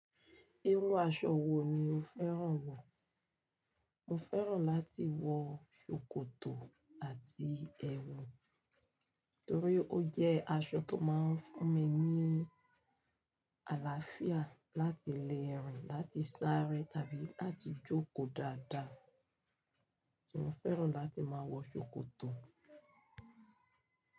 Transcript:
Irú aṣọ wo ni o fẹ́ràn wọ̀? Mo fẹ́ràn láti wọ ṣòkòtò àti ẹwù, torí ó jẹ́ aṣọ tó máa ń fún mi ní àlàáfíà láti lérìn, láti sáré tàbí láti jókòó dáadáa. Mo fẹ́ràn láti máa wọ ṣòkòtò.